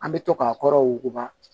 An bɛ to k'a kɔrɔ wuguba